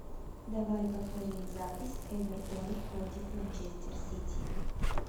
давай повторим запись эвертон против манчестер сити